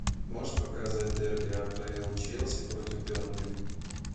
можешь показать дерби апл челси против бернли